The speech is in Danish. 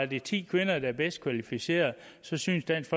det ti kvinder der er bedst kvalificerede så synes dansk